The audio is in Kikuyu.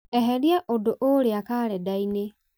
eheria ũndũ ũũrĩa karenda-inĩ